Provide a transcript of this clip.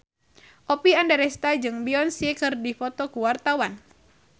Oppie Andaresta jeung Beyonce keur dipoto ku wartawan